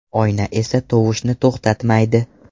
Oyna esa tovushni to‘xtatmaydi.